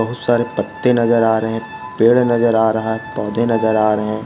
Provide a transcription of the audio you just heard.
बहुत सारे पत्ते नजर आ रहे है पेड़ नजर आ रहा है पौधे नजर आ रहे--